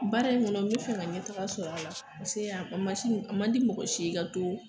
Baara in kɔnɔ n be fɛ ka ɲɛtaga sɔrɔ a la paseke a masi a ma di mɔgɔ si ye i ka to